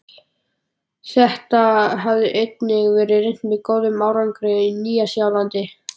Þetta hafði einnig verið reynt með góðum árangri á Nýja-Sjálandi.